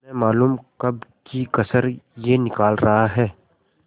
न मालूम कब की कसर यह निकाल रहा है